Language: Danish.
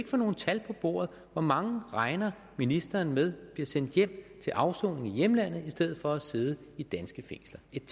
få nogen tal på bordet hvor mange regner ministeren med bliver sendt hjem til afsoning i hjemlandene i stedet for at sidde i danske fængsler et